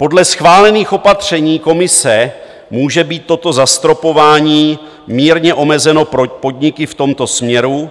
Podle schválených opatření Komise může být toto zastropování mírně omezeno pro podniky v tomto směru,